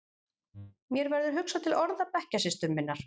Mér verður hugsað til orða bekkjarsystur minnar.